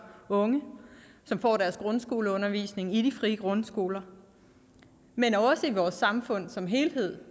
unge som får deres grundskoleundervisning i de frie grundskoler men også i vores samfund som helhed